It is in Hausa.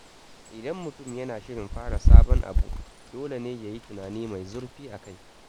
Idan mutum yana shirin fara sabon abu, dole ne ya yi tunani mai zurfi akai.